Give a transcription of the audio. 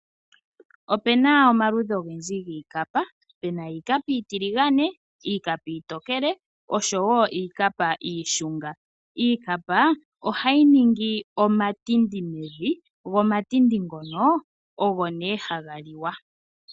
Opuna omaludhi ogendji giikapa, pena iikapa iitiligane, iikapa iitokele nosho wo iikapa iishunga. Iikapa ohayi ningi omatindi mevi go omatindi ngoka ogo ne haga liwa.